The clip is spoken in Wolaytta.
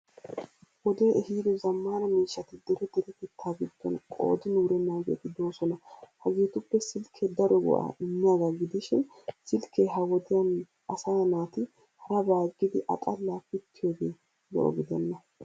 Wodee ehido zammaana miishshati dere derettetta giddon qoodin wurennaageeti doosona. Hagetuppe silkke daro go'aa immiyagaa gidishin silkke ha wodiyan asaa naati harabaa aggidi a xallaa pittiyoogee lo'o gidenna.